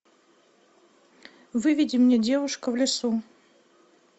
выведи мне девушка в лесу